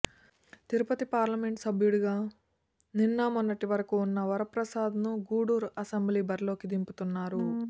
Tirupati parliament సభ్యుడిగా నిన్న మొన్నటి వరకూ ఉన్న వరప్రసాద్ ను గూడూరు అసెంబ్లీ బరిలోకి దింపుతున్నారు